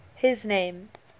his name